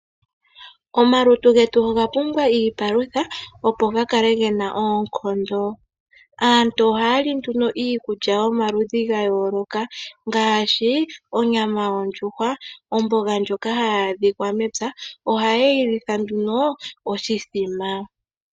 Omalutu getu oga pumbwa iipalutha opo ga kale gena oonkondo. Aantu ohaya li nduno iikulya yomaludhi ga yooloka ngaashi onyama yondjuhwa, omboga ndjoka hayi adhikwa mepya ,ohaye yi litha nduno oshithima.